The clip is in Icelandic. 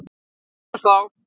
Við sjáumst þá!